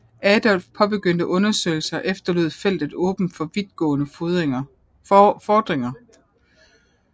Adolf påbegyndte undersøgelser efterlod feltet åbent for vidt gående fordringer